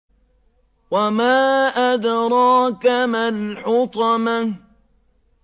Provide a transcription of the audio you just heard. وَمَا أَدْرَاكَ مَا الْحُطَمَةُ